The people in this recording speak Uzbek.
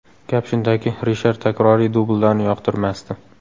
Gap shundaki, Rishar takroriy dubllarni yoqtirmasdi.